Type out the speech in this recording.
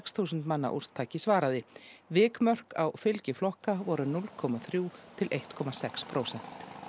þúsund manna úrtaki svaraði vikmörk á fylgi flokka voru núll komma þrjú til eitt komma sex prósent